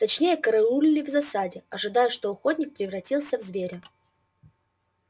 точнее караулили в засаде ожидая что охотник превратится в зверя